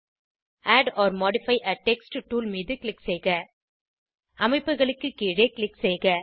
add or modify a text tool மீது click செய்க அமைப்புகளுக்கு கீழே க்ளிக் செய்க